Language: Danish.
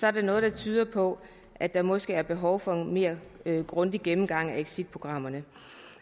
er der noget der tyder på at der måske er behov for en mere grundig gennemgang af exitprogrammet